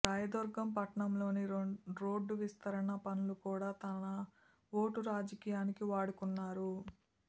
రాయదుర్గం పట్టణంలోని రోడ్డు విస్తరణ పనులు కూడా తన ఓటు రాజకీయానికి వాడుకున్నారు